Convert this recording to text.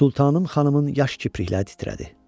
Sultanım xanımın yaş kiprikləri titrədi.